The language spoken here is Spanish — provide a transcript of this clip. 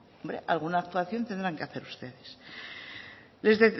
alguna actuación tendrán que hacer ustedes